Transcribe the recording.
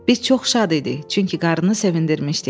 Biz çox şad idik, çünki qarını sevindirmişdik.